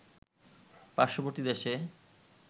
পার্শ্ববর্তী দেশে